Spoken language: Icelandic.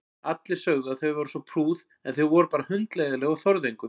Allir sögðu að þau væru svo prúð en þau voru bara hundleiðinleg og þorðu engu.